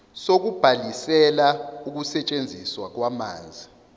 sokubhalisela ukusetshenziswa kwamanzi